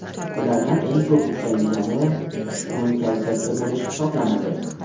Ulardan eng ko‘p uchraydigani, tushkun kayfiyatda bo‘lish hisoblanadi.